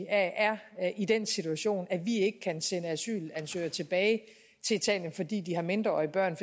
er i den situation at vi ikke kan sende asylansøgere tilbage til italien fordi de har mindreårige børn